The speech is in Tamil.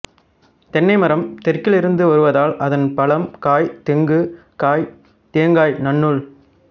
தென்னை மரம் தெற்கில் இருந்து வருவதால் அதன் பழம் காய் தெங்கு காய் தேங்காய் நன்னூல்